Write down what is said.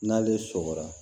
N'ale sɔkɔra